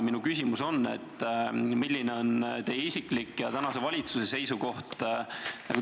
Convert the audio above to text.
Minu küsimus on: milline on teie isiklik ja milline on tänase valitsuse seisukoht?